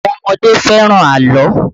Àwọn ọmọdé fẹ́ràn àlọ́